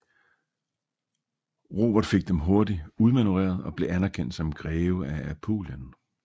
Robert fik dem hurtigt udmanøvreret og blev anerkendt som greve af Apulien